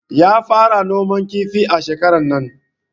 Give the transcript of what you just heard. Ya fara noman kifi shekarar nan